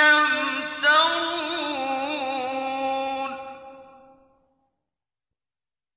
يَمْتَرُونَ